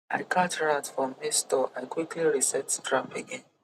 i catch rat for maize store i quickly reset trap again